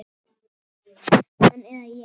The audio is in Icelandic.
Hann eða ég.